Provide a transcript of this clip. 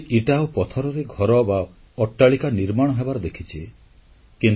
ଆମେ ସମସ୍ତେ ଇଟା ଓ ପଥରରେ ଘର ବା ଅଟ୍ଟାଳିକା ନିର୍ମାଣ ହେବାର ଦେଖିଛେ